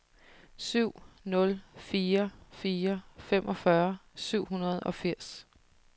syv nul fire fire femogfyrre syv hundrede og firs